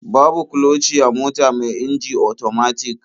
Babu kloci a mota mai inji otomatik.